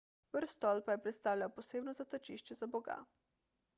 vrh stolpa je predstavljal posebno zatočišče za boga